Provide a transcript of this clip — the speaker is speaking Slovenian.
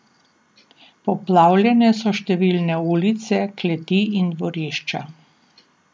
Poplavljene so številne ulice, kleti in dvorišča.